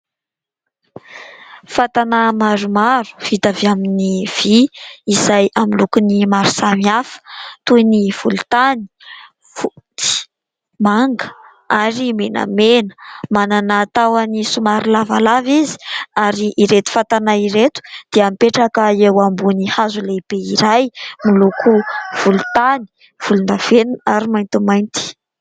fatana maromaro vita avy amin'ny vy izay amin'ny loko maro samihafa, toy ny volon-tany ,fotsy, manga ary menamena; manana tahony somary lavalava izy ary ireto fatana ireto dia mipetraka eo ambonin'ny hazo lehibe iray moloko volon-tany, volon-davenina ary maintimainty